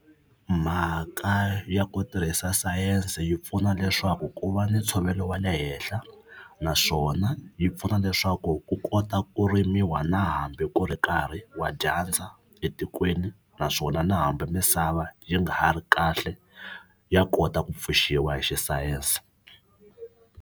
Mhaka ya ku tirhisa sayense yi pfuna leswaku ku va ni ntshovelo wa le henhla naswona yi pfuna leswaku ku kota ku rimiwa na hambi ku ri nkarhi wa dyandza etikweni naswona na hambi misava yi nga ha ri kahle ya kota ku pfuxiwa hi xisayense.